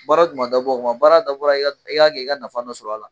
Baara du ma dabɔ o kama baara dabɔra i ka kɛ i ka nafa dɔ sɔr'a la.